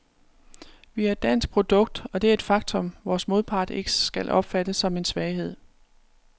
Vi er et dansk produkt, og det er et faktum, vores modpart ikke skal opfatte som en svaghed.